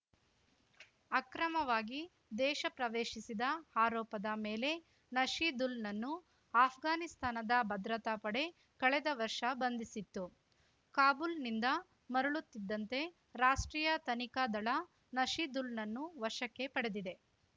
ಅಕ್ರಮವಾಗಿ ದೇಶ ಪ್ರವೇಶಿಸಿದ ಆರೋಪದ ಮೇಲೆ ನಶೀದುಲ್‌ನನ್ನು ಅಷ್ಘಾನಿಸ್ತಾನದ ಭದ್ರತಾ ಪಡೆ ಕಳೆದ ವರ್ಷ ಬಂಧಿಸಿತ್ತು ಕಾಬೂಲ್‌ನಿಂದ ಮರಳುತ್ತಿದ್ದಂತೆ ರಾಷ್ಟ್ರೀಯ ತನಿಖಾ ದಳ ನಶೀದುಲ್‌ನನ್ನು ವಶಕ್ಕೆ ಪಡೆದಿದೆ